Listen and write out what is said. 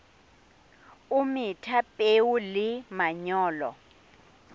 o metha peo le manyolo